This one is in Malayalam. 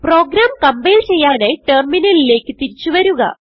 പ്രോഗ്രാം കംപൈൽ ചെയ്യാനായി ടെർമിനലിലേക്ക് തിരിച്ചു വരുക